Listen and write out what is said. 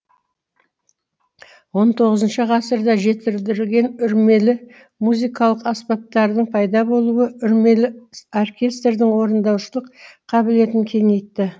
он тоғызыншы ғасырда жетілдірілген үрмелі музыкалық аспаптардың пайда болуы үрмелі оркестрдің орындаушылық қабілетін кеңейтті